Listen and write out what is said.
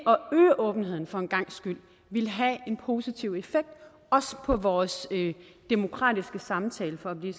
åbenheden for en gangs skyld ville have en positiv effekt også på vores demokratiske samtale for at blive